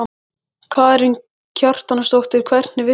Karen Kjartansdóttir: Hvernig virkaði það?